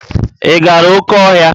Ị gara oké ọhịa?